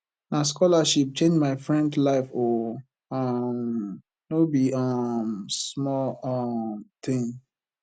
na scholarship change my friend life o um no be um small um tin